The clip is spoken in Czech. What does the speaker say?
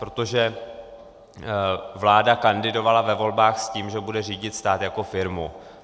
Protože vláda kandidovala ve volbách s tím, že bude řídit stát jako firmu.